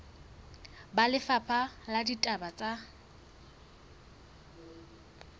ba lefapha la ditaba tsa